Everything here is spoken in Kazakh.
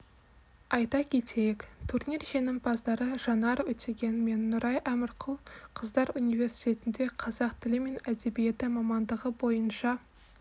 айта кетейік турнир жеңімпаздары жанар өтеген мен нұрай әмірқұлқыздар университетінде қазақ тілі мен әдебиеті мамандығы бойынша